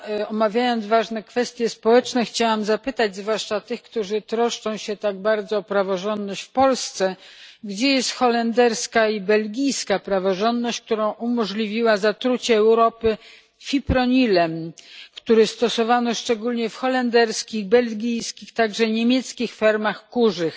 Omawiając ważne kwestie społeczne, chciałam zapytać zwłaszcza tych, którzy troszczą się tak bardzo o praworządność w Polsce gdzie jest holenderska i belgijska praworządność, która umożliwiła zatrucie Europy fipronilem, który stosowano szczególnie w holenderskich, belgijskich, a także niemieckich fermach kurzych.